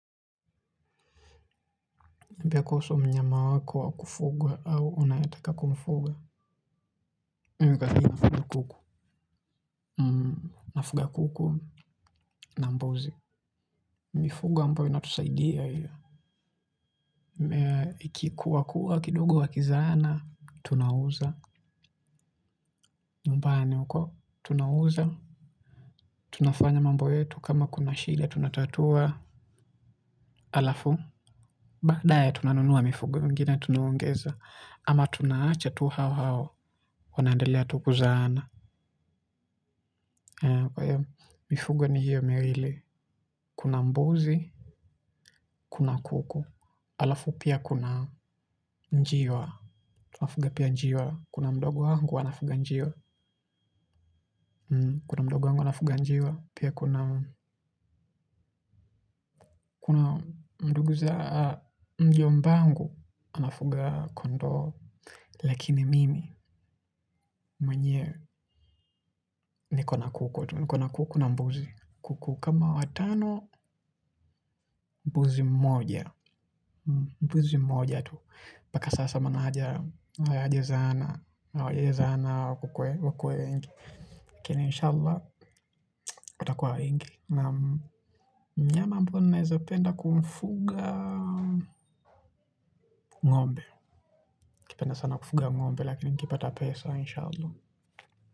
Pia kuhusu mnyama wako wakufugwa au unayetaka kumfuga. Mimi ningependa sana sana kuku. Mnafuga kuku na mbuzi. Mifugo ambayo inatusaidia hio. Ikikuwa kuwa kidogo wakizaana. Tunauza. Mbane uko? Tunauza. Tunafanya mambo yetu kama kuna shida tunatatua alafu. Baadaye tunanunuwa mifugo vingine tunaongeza. Ama tunaacha tu hao hao. Wanaendelea tu kuzaana. Mifugo ni hiyo miwili. Kuna mbuzi, kuna kuku. Alafu pia kuna njiwa. Tunafuga pia njiwa. Kuna mdogo wangu anafuga njiwa. Kuna mdogo wangu anafuga njiwa. Pia kuna ndugu za mjombangu. Amefuga kondoo lakini mimi mwenyewe niko na kuku tu niko na kuku na mbuzi kuku kama watano mbuzi mmoja mbuzi mmoja tu mpaka sasa maana hayaja zaana hawajai zaana walivyokuwa wengi lakini inshallah watakuwa wengi naam mnyama ambao ninaweza penda kumfuga ngombe nakipenda sana kufuga ngombe lakini nikipata pesa inshallah.